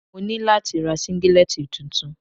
Mo ní láti ra Síngílẹ́tì tuntun.